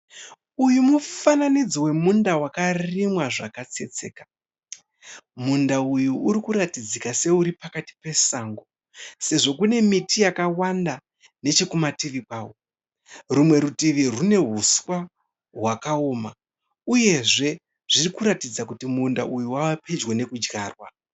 Uyu mufananidzo wemunda wakarimwa zvakatsetseka. Munda uyu uri kuratidzika seuri pakati pesango sezvo kune miti yakawanda nechekumativi kwawo. Rumwe rutivi rwune huswa hwakaoma uyezve zviri kuratidza kuti munda uyu wava pedyo nekudyarwa.